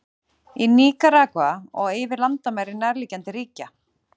Í Níkaragva og yfir landamæri nærliggjandi ríkja.